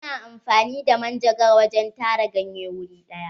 Ana amfani da manjagara wajen tara ganye wuri ɗaya.